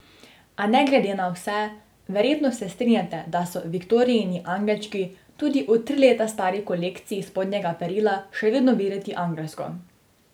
A ne glede na vse, verjetno se strinjate, da so Viktorijini angelčki tudi v tri leta stari kolekciji spodnjega perila še vedno videti angelsko.